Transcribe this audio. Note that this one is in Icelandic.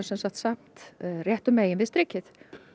samt réttu megin við strikið